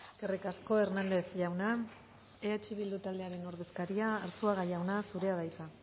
eskerrik asko hernández jauna eh bildu taldearen ordezkaria arzuaga jauna zurea da hitza